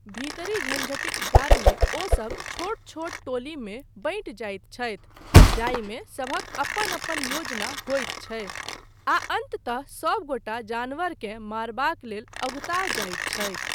भीतरी झंझटिक कारणेँ ओ सभ छोट छोट टोलीमे बँटि जाइत छथि, जाहिमे सभक अपन अपन योजना होइत छै, आ अन्ततः सबगोटा जानवरकेँ मारबाक लेल अगुता जाइत छथि।